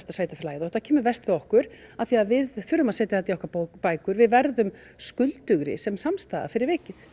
sveitarfélagið og þetta kemur verst við okkur af því að við þurfum að setja þetta í okkar bækur við verðum skuldugri sem samstæða fyrir vikið